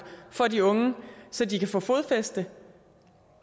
for de unge så de kan få fodfæste